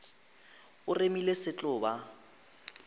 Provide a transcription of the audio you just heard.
o remile se tlo ba